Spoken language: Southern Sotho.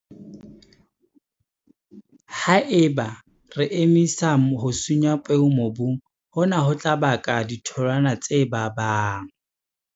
Ha eba re emisa ho sunya peo mobung, hona ho tla baka ditholwana tse babang.